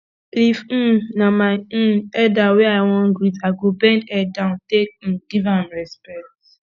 if um na my um elder wey i wan greet i go bend head down take um give am respect